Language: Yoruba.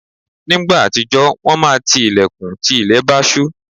Nígbà àtijọ́, wọ́n máa ti ilẹ̀kùn tí ilẹ̀ bá ṣú.